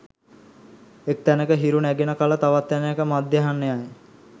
එක් තැනක හිරු නැගෙන කල තවත් තැනෙක මධ්‍යහ්නයයි